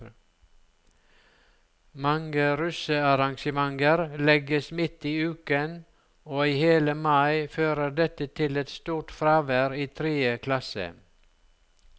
Mange russearrangementer legges midt i uken, og i hele mai fører dette til et stort fravær i tredje klasse.